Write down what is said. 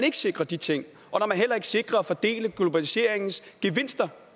ikke sikrer de ting og heller ikke sikrer at fordele globaliseringens gevinster